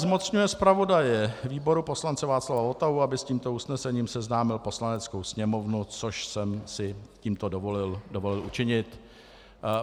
Zmocňuje zpravodaje výboru poslance Václava Votavu, aby s tímto usnesením seznámil Poslaneckou sněmovnu, což jsem si tímto dovolil učinit.